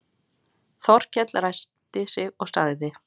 Þórkell ræskti sig og sagði